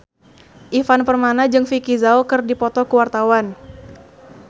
Ivan Permana jeung Vicki Zao keur dipoto ku wartawan